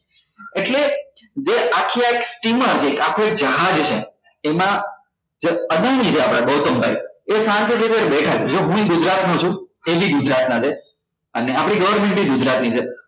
એટલે જે આખે આખું steamer હોય જે આખું એક જહાજ છે એમાં જે આપણા ગૌતમ ભાઈ એ શાંતિ થી ત્યાં બેઠા છે જો હુએ ગુજરાત નો છું એ બી ગુજરાત ના છે અને આપણી government એ ગુજરાતી છે